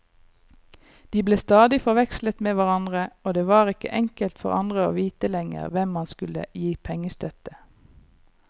De ble stadig forvekslet med hverandre, og det var ikke enkelt for andre å vite lenger hvem man skulle gi pengestøtte.